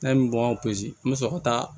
N'an ye bɔ n bɛ sɔrɔ ka taa